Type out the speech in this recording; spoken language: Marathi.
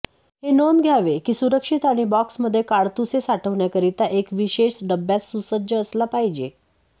हे नोंद घ्यावे की सुरक्षित आणि बॉक्समध्ये काडतुसे साठवण्याकरिता एक विशेष डब्यात सुसज्ज असला पाहिजे